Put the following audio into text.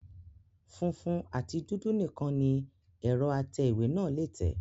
Funfun àti dúdú nìkan ni ẹ̀rọ atẹ ìwé náà lé tẹ̀